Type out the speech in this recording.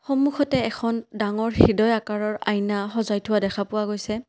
সন্মুখতে এখন ডাঙৰ হৃদয় আকাৰৰ আইনা সজাই থোৱা দেখা পোৱা গৈছে।